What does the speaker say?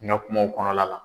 N ka kumaw kɔnɔla la.